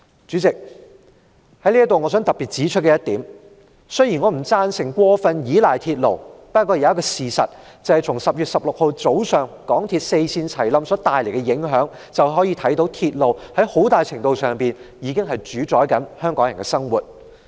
主席，我想特別指出，雖然我不贊成過分依賴鐵路，但從10月16日早上港鐵公司四線同時發生故障所帶來的影響可看到，鐵路很大程度上主宰着香港人的生活。